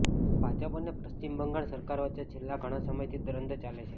ભાજપ અને પશ્ચિમ બંગાળ સરકાર વચ્ચે છેલ્લા ઘણાં સમયથી દ્વંદ્વ ચાલે છે